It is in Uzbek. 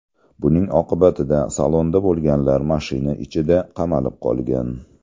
Buning oqibatida salonda bo‘lganlar mashina ichida qamalib qolgan.